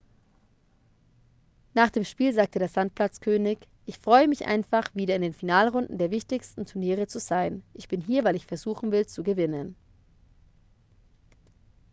nach dem spiel sagte der sandplatz-könig ich freue mich einfach wieder in den finalrunden der wichtigsten turniere zu sein ich bin hier weil ich versuchen will zu gewinnen